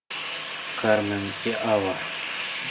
кармен и алла